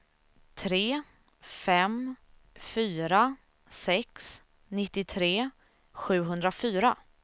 tre fem fyra sex nittiotre sjuhundrafyra